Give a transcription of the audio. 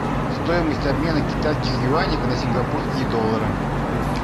стоимость обмена китайских юаней на сингапурские доллары